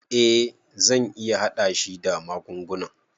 Eh zan iya hada shi da magungunan.